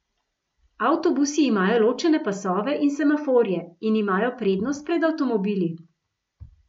Avtobusi imajo ločene pasove in semaforje in imajo prednost pred avtomobili.